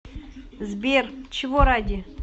сбер чего ради